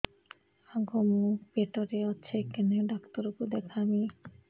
ଆଗୋ ମୁଁ ପେଟରେ ଅଛେ କେନ୍ ଡାକ୍ତର କୁ ଦେଖାମି